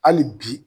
Hali bi